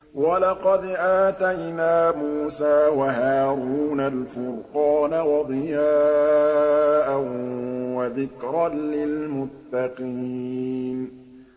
وَلَقَدْ آتَيْنَا مُوسَىٰ وَهَارُونَ الْفُرْقَانَ وَضِيَاءً وَذِكْرًا لِّلْمُتَّقِينَ